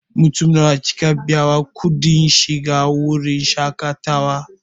Mutum nawa kika biya wa kuɗin shiga wurin shaƙatawa?